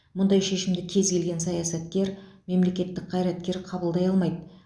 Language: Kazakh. мұндай шешімді кез келген саясаткер мемлекеттік қайраткер қабылдай алмайды